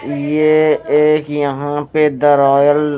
ये एक यहाँ पे द रॉयल --